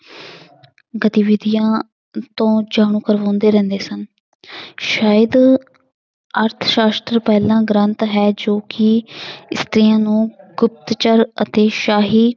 ਗਤੀਵਿਧੀਆਂ ਤੋਂ ਜਾਣੂ ਕਰਵਾਉਂਦੇ ਰਹਿੰਦੇ ਸਨ ਸ਼ਾਇਦ ਅਰਥ ਸ਼ਾਸ਼ਤਰ ਪਹਿਲਾ ਗ੍ਰੰਥ ਹੈ ਜੋ ਕਿ ਇਸਤਰੀਆਂ ਨੂੰ ਗੁਪਤਚਰ ਅਤੇ ਸ਼ਾਹੀ